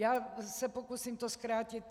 Já se to pokusím zkrátit.